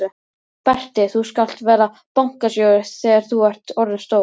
Berti þú skalt verða bankastjóri þegar þú ert orðinn stór!